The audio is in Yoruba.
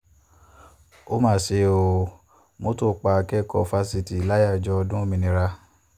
ó máa ṣe ọ́ mọ́tò pa akẹ́kọ̀ọ́ fásitì láyàájọ́ ọdún òmìnira